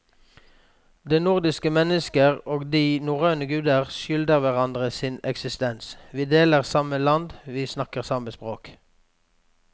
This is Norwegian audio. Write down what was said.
Det nordiske mennesket og de norrøne guder skylder hverandre sin eksistens, vi deler samme land, vi snakker samme språk.